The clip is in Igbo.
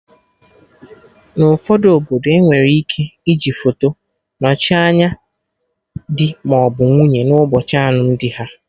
Na ụfọdụ obodo, enwere ike iji foto nochie anya dị maọbụ nwunye na ụbọchị alụmdi ha